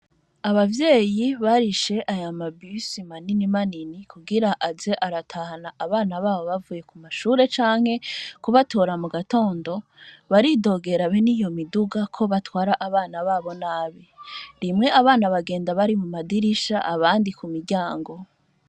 Abavyeyi barishe aya mabisi manini manini kugira aze aratahana abana babo bavuye ku mashure canke kubatora mu gatondo, baridogera abe ni iyo miduga ko batwara abana babo nabi, rimwe abana bagenda bari mu madirisha abandi ku miryango.